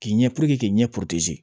K'i ɲɛ k'i ɲɛ